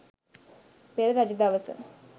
පෙර රජ දවස